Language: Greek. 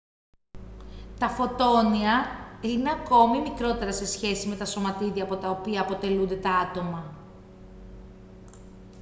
τα φωτόνια είναι ακόμη μικρότερα σε σχέση με τα σωματίδια από τα οποία αποτελούνται τα άτομα